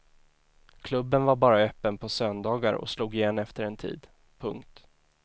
Klubben var bara öppen på söndagar och slog igen efter en tid. punkt